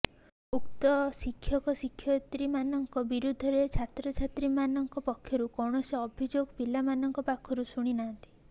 ଉକ୍ତ ଶିକ୍ଷକ ଶିକ୍ଷୟତ୍ରୀ ମାନଙ୍କ ବିରୁଦ୍ଧରେ ଛାତ୍ରଛାତ୍ରୀ ମାନଙ୍କ ପକ୍ଷରୁ କୌଣସି ଅଭିଯୋଗ ପିଲାମାନଙ୍କ ପାଖରୁ ଶୁଣି ନାହାନ୍ତି